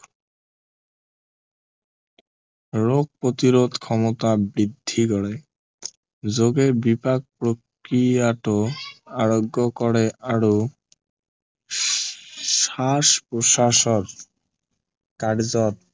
ৰোগ প্ৰতিৰোধ ক্ষমতা বৃদ্ধি কৰে যোগে বিপাক প্ৰক্ৰিয়াতো আৰোগ্য় কৰে আৰু শ্বাস প্ৰশ্বাসৰ কাৰ্য্য়ত